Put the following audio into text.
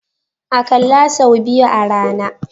Akalla sau biyu a rana.